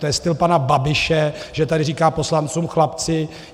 To je styl pana Babiše, že tady říká poslancům chlapci.